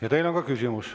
Ja teile on ka küsimus.